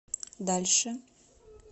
дальше